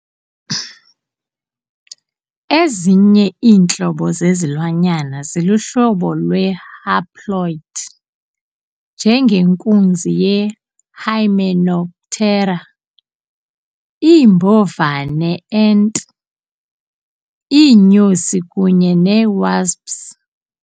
Ezinye iintlobo zezilwanyana ziluhlobo lwe-haploid, njengenkunzi ye-hymenoptera, iimbovane ant, iinyosi kunye ne-wasps.